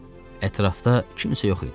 Ətrafda kimsə yox idi.